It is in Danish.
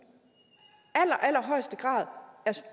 allerhøjeste grad